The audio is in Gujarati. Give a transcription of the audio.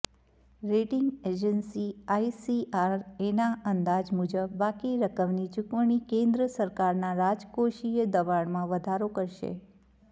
રેટિંગ એજન્સી આઇસીઆરએના અંદાજ મુજબ બાકી રકમની ચુકવણી કેન્દ્ર સરકારના રાજકોષીય દબાણમાં વધારો કરશે